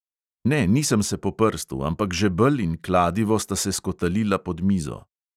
Ne, nisem se po prstu, ampak žebelj in kladivo sta se skotalila pod mizo.